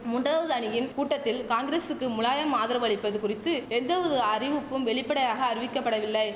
மூன்றாவது அணியின் கூட்டத்தில் காங்கிரசுக்கு முலாயம் ஆதரவு அளிப்பது குறித்து எந்தவொரு அறிவிப்பும் வெளிப்படையாக அறிவிக்கப்படவில்லை